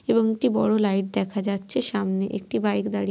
এবং একটি বড় লাইট দেখা যাচ্ছে সামনে একটি বাইক দাড়িয়ে--